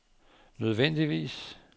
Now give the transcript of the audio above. nødvendigvis